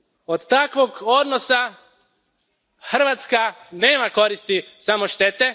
Od takvog odnosa Hrvatska nema koristi, samo štete.